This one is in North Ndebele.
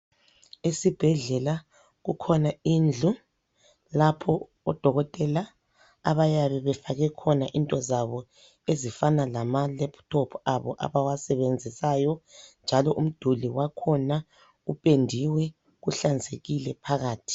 Esibhedlela kukhona indlu lapho odokotela abayabe befake khona into zabo ezifana lamalaptop abo abawasebenzisayo . Njalo umduli wakhona ipendiwe, uhlanzekile phakathi.